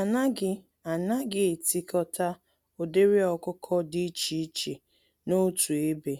Anaghị Anaghị etikọta ụdịrị ọkụkọ dị iche iche n'otu ebe,